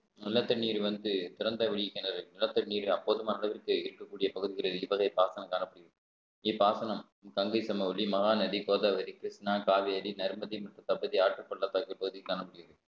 நல்ல தண்ணீர் வந்து திறந்த வெளி கிணறு நிலத்தடி நீர் அப்போதும் அளவிற்கு இருக்கும் பகுதிகளில் இருப்பதை பாசனம் காணப்படுகிறது இப்பாசனம் கங்கை சமவெளி மகாநதி கோதாவரி கிருஷ்ணா காவேரி நர்மதி மற்றும் தம்பதி ஆற்றுப்பள்ளத்தாக்கு பகுதி காணப்படுகிறது